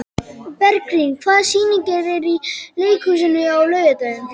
Bergrín, hvaða sýningar eru í leikhúsinu á laugardaginn?